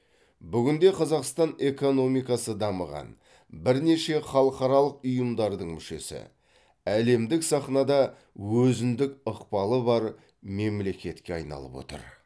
бүгін де қазақстан экономикасы дамыған бірнеше халықаралық ұйымдардың мүшесі әлемдік сахнада өзіндік ықпалы бар мемлекетке айналып отыр